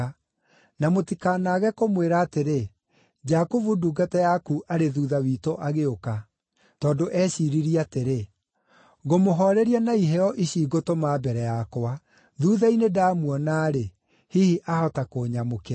Na mũtikanaage kũmwĩra atĩrĩ, ‘Jakubu ndungata yaku arĩ thuutha witũ agĩũka.’ ” Tondũ eeciiririe atĩrĩ, “Ngũmũhooreria na iheo ici ngũtũma mbere yakwa; thuutha-inĩ ndamuona-rĩ, hihi ahota kũnyamũkĩra.”